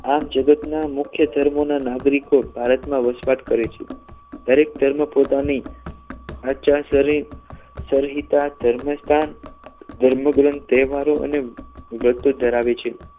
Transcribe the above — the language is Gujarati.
આ જગતના મુખ્ય ધર્મના નાગરિકો ભારતમાં વસવાટ કરે છે દરેક ધર્મ પોતાની આચાર સરિતા ધર્મસ્થાન ધર્મગ્રંથો તહેવારો અને ધરાવે છે